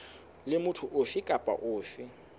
le motho ofe kapa ofe